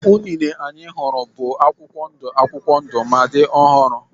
Unine anyị hụrụ bụ akwụkwọ ndụ akwụkwọ ndụ ma dị ọhụrụ.